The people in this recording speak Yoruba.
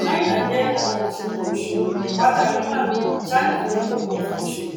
ṣáínà jẹ alábàṣepọ ìṣòwò pátá yuan china jẹ kókó fún ìṣòwò